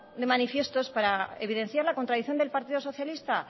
de manifiesto es para evidenciar la contradicción del partido socialista